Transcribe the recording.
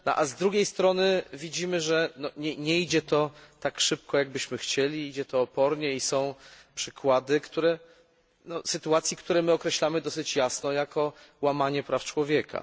Z drugiej strony widzimy, że nie idzie to tak szybko, jak byśmy chcieli, idzie to opornie i są przykłady, sytuacje, które określamy dosyć jasno jako łamanie praw człowieka.